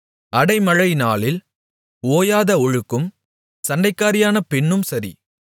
அடைமழைநாளில் ஓயாத ஒழுக்கும் சண்டைக்காரியான பெண்ணும் சரி